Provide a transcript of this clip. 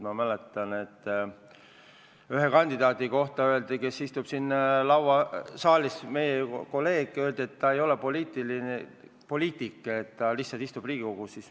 Ma mäletan, et ühe kandidaadi, meie kolleegi kohta, kes istub siin saalis, öeldi, et ta ei ole poliitik, ta lihtsalt istub Riigikogus.